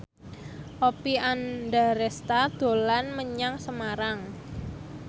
Oppie Andaresta dolan menyang Semarang